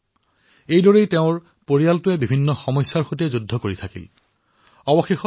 ITES অৰ্থাৎ information technology enabled services ত প্ৰশিক্ষণ লাভ কৰি আজি তেওঁ পাঞ্জাৱত চাকৰি কৰি আছে